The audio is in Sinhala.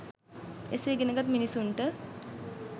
එසේ ඉගෙන ගත් මිනිසුන්ට